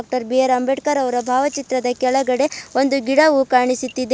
ಟರ್ B R Ambedkar ಅವರ ಭಾವಚಿತ್ರದ ಕೆಳಗಡೆ ಒಂದು ಗಿಡವು ಕಾಣಿಸುತ್ತಿದೆ.